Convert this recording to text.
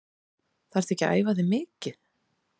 Þarftu ekki að æfa þig mikið?